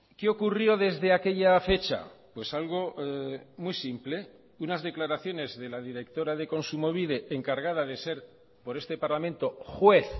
qué ocurrió desde aquella fecha pues algo muy simple unas declaraciones de la directora de kontsumobide encargada de ser por este parlamento juez